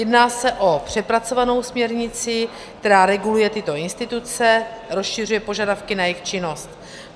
Jedná se o přepracovanou směrnici, která reguluje tyto instituce, rozšiřuje požadavky na jejich činnost.